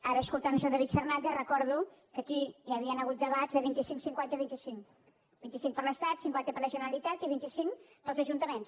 ara escoltant el senyor david fernàndez recordo que aquí hi havien hagut debats de vint cinc·cinquanta·vint cinc vint cinc per l’estat cinquanta per la genera·litat i vint cinc pels ajuntaments